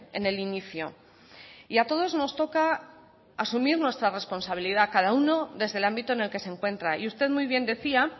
en el inicio y a todos nos toca asumir nuestra responsabilidad cada uno desde el ámbito en el que se encuentra y usted muy bien decía